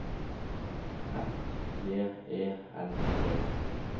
F J E L D